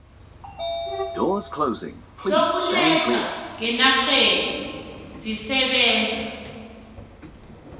zokuletha ngenarheni zisebenza